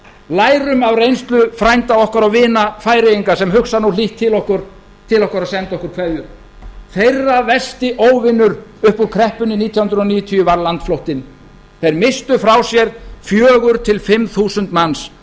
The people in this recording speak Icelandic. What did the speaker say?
lærum af reynslu frænda okkar og vina færeyinga sem hugsa nú hlýtt til okkar og senda okkur kveðjur þeirra versti óvinur upp úr kreppunni nítján hundruð níutíu var landflóttinn þeir misstu frá sér fjögur til fimm þúsund manns